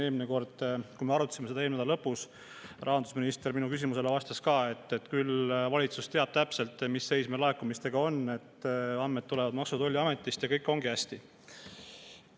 Eelmisel korral, kui me seda arutasime, eelmise nädala lõpus, siis rahandusminister ütles minu küsimusele vastates ka, et küll valitsus teab täpselt, mis seis meil laekumistega on, andmed tulevad Maksu‑ ja Tolliametist ning kõik ongi hästi.